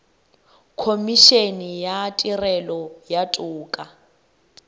khomišene ya tirelo ya toka